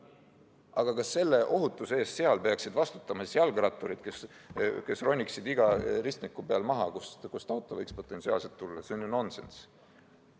Aga kas ohutuse eest peaksid seal vastutama jalgratturid, kes roniksid rattalt maha igal ristmikul, kus auto võib potentsiaalselt välja ilmuda?